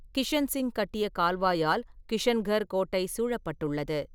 கிஷன்சிங் கட்டிய கால்வாயால் கிஷன்கர் கோட்டை சூழப்பட்டுள்ளது.